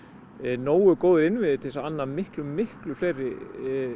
nógu góðir innviðir til þess að anna miklu miklu fleiri